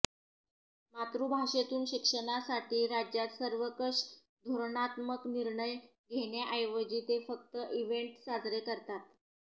मातृभाषेतून शिक्षणासाठी राज्यात सर्वंकष धोरणात्मक निर्णय घेण्याऐवजी ते फक्त इव्हेंट साजरे करतात